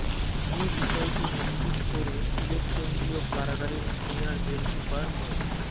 এ বিষয়টি নিশ্চিত করে সিলেট কেন্দ্রীয় কারাগারের সিনিয়র জেল সুপার মো